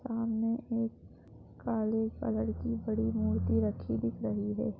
सामने एक काले कलर की बड़ी मूर्ति रखी दिख रही है।